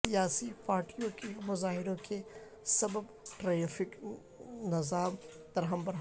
سیاسی پارٹیوں کے مظاہروں کے سبب ٹریفک نظام درہم برہم